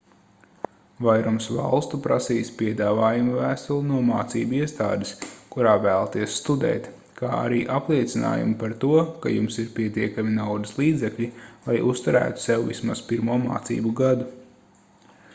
vairums valstu prasīs piedāvājuma vēstuli no mācību iestādes kurā vēlaties studēt kā arī apliecinājumu par to ka jums ir pietiekami naudas līdzekļi lai uzturētu sevi vismaz pirmo mācību gadu